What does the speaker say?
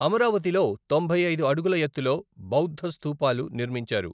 అమరావతిలో తొంభై ఐదు అడుగుల ఎత్తులో బౌద్ధ స్థూపాలు నిర్మించారు.